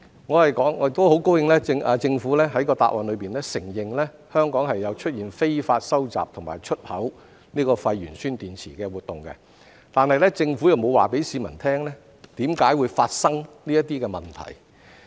我很高興政府在答覆中承認香港有出現非法收集和出口廢鉛酸電池的活動，但政府沒有告訴市民為何會發生這些問題。